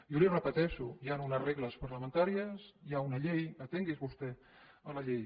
jo li ho repeteixo hi ha unes regles parlamentàries hi ha una llei atingui’s vostè a la llei